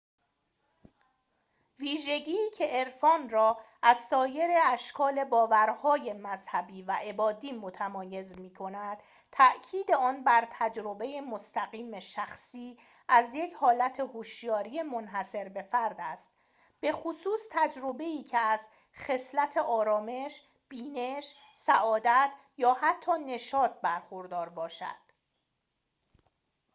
ویژگی که عرفان را از سایر اشکال باورهای مذهبی و عبادی متمایز می‌کند تأکید آن بر تجربه مستقیم شخصی از یک حالت هشیاری منحصربه‌فرد است بخصوص تجربه‌ای که از خصلت آرامش بینش سعادت یا حتی نشاط برخوردار باشد